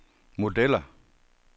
modeller